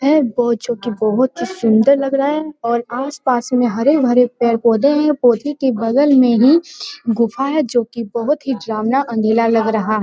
है जो की बहुत ही सुंदर लग रहा है और आसपास में हरे-भरे पेड़-पौधे हैं पौधे के बगल में ही गुफा है जो की बहुत ही अंधेरा लग रहा है ।